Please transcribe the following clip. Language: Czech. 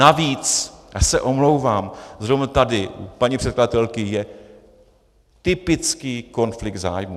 Navíc, já se omlouvám, zrovna tady u paní předkladatelky je typický konflikt zájmů.